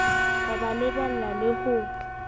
ho ba lebella le ho